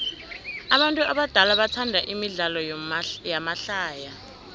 abantu abadala bathanda imidlalo yamahlaya